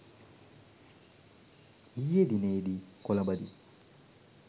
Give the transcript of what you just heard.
ඊයේ දිනයේදී කොලඹදී